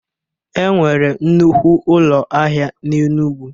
Enwere nnukwu ụlọ ahịa n'Enugwu